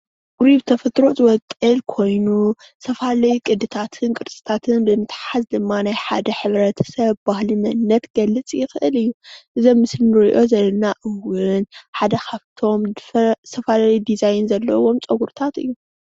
ፀጉሪ ብተፈጥሮ ዝወቅል ኮይኑ ዝተፈላለየ ቅድታትን ቅርፅታትን ብምትሓዝ ድማ ናይ ሓደ ሕብረተሰብ ባህሊ መንነት ክገልፅ ይክእል እዩ፡፡ እዚ ኣብ ምስሊ እንሪኦ ዘለና እውን ሓደ ካብቶም ዝተፈላለዩ ዲዛይን ዘለዎ ፀጉሪታት እዩ፡፡